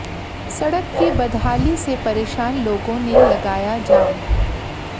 सड़क की बदहाली से परेशान लोगों ने लगाया जाम